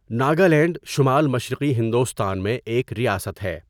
ناگالینڈ شمال مشرقی ہندوستان میں ایک ریاست ہے۔